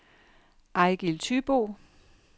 Ejgil Thybo